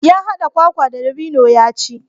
Ya haɗa kwakwa da dabino ya ci.